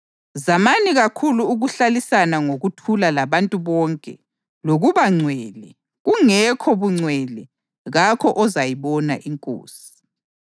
Zamani kakhulu ukuhlalisana ngokuthula labantu bonke lokuba ngcwele; kungekho bungcwele kakho ozayibona iNkosi.